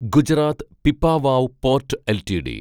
Gujarat Pipavav port LTD